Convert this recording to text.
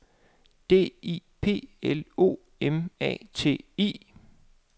D I P L O M A T I